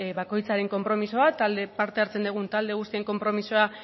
bakoitzaren konpromisoa parte hartzen dugun talde guztion konpromisoa